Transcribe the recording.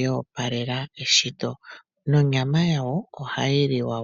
yo opalela eshito nonyama yawo ohayi liwa.